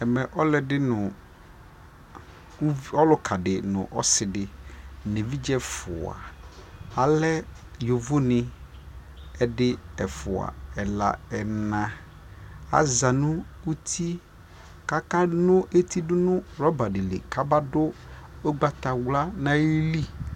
ɛmɛ ɔlʋɛdi nʋ ɔlʋka di nʋ ɔsiidi nʋ ɛvidzɛ ɛƒʋa alɛ yɔvɔ ni, ɛdi, ɛƒʋa, ɛla, ɛna aza nʋ ʋtiɛ kʋ akalʋ ɛti dʋnʋ rubber dilikʋ abadʋ ɔgbatawla nʋ ali